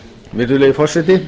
virðulegi forseti